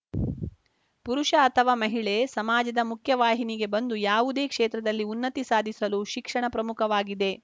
ಪುರುಷ ಅಥವಾ ಮಹಿಳೆ ಸಮಾಜದ ಮುಖ್ಯ ವಾಹಿನಿಗೆ ಬಂದು ಯಾವುದೇ ಕ್ಷೇತ್ರದಲ್ಲಿ ಉನ್ನತಿ ಸಾಧಿಸಲು ಶಿಕ್ಷಣ ಪ್ರಮುಖವಾಗಿದೆ